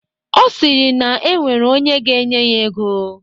Ọ sịrị na e nwere onye ga-enye ya ego.